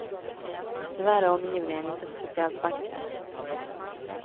Tyvärr är omgivningen inte speciellt vacker.